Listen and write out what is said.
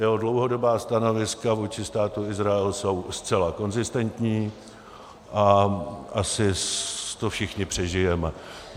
Jeho dlouhodobá stanoviska vůči Státu Izrael jsou zcela konzistentní a asi to všichni přežijeme.